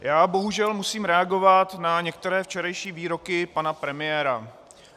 Já bohužel musím reagovat na některé včerejší výroky pana premiéra.